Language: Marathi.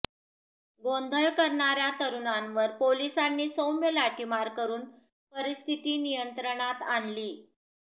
गोंधळ करणार्या तरुणांवर पोलिसांनी सौम्य लाठीमार करून परिस्थिती नियंत्रणात आणली